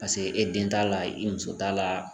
Pase e den t'a la i muso t'a la